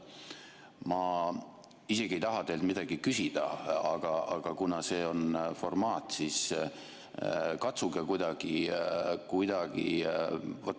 Ma isegi ei taha teilt midagi küsida, aga kuna on see formaat, siis katsuge kuidagi ...